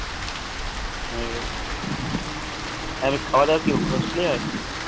উহ তাহলে খাওয়া দাওয়া কি hostel এই হয়